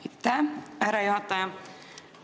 Aitäh, härra juhataja!